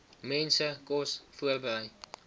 mense kos voorberei